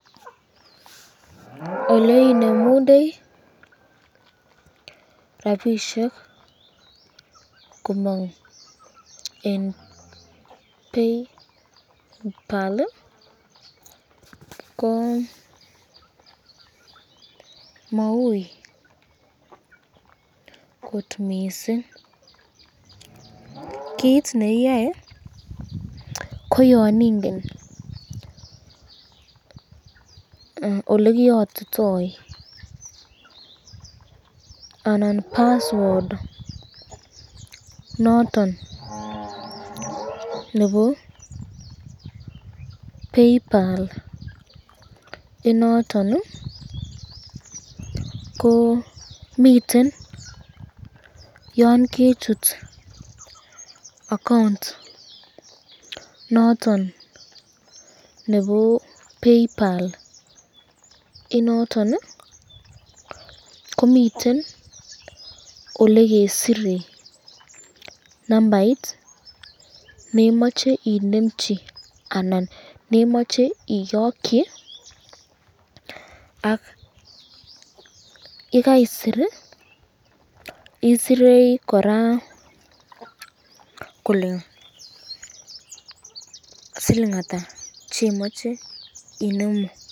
oleinemunde rapishek komong eng PayPal ko Maui kot mising, kit neiyoe ko yon ingen olekiyotito anan password noton nebo PayPal inoton ko miten yon kechut account noton nebo PayPal inoton ko miten olekesire nambait nemache inemchi anan nemache iyokyi ak yekaisit, isire koraa kole siling at chemache inemu.